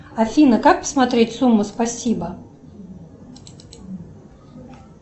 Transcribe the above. афина как посмотреть сумму спасибо